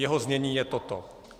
Jeho znění je toto: